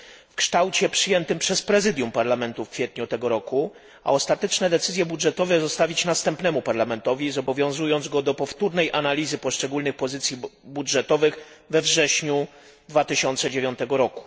w kształcie przyjętym przez Prezydium Parlamentu w kwietniu tego roku. A ostateczne decyzje budżetowe zostawić następnemu Parlamentowi, zobowiązując go do powtórnej analizy poszczególnych pozycji budżetowych we wrześniu 2009 r.